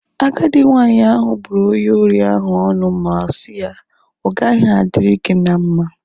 Agadi nwanyị ahu bụrụ onye ori ahu ọnụ ma si ya, ọ gaghị adịrị gị na mma